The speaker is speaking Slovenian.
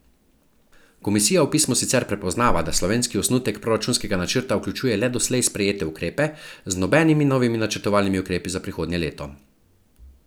Komisija v pismu sicer prepoznava, da slovenski osnutek proračunskega načrta vključuje le doslej sprejete ukrepe, z nobenimi novimi načrtovanimi ukrepi za prihodnje leto.